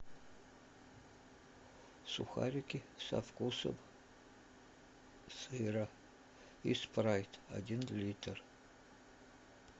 сухарики со вкусом сыра и спрайт один литр